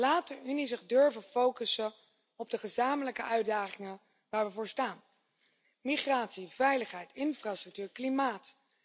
Laat de Unie zich durven focussen op de gezamenlijke uitdagingen waar we voor staan migratie, veiligheid, infrastructuur, klimaat.